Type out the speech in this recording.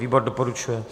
Výbor doporučuje.